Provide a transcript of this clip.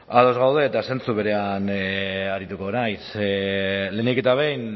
ados gaude eta zentzu berean arituko naiz lehenik eta behin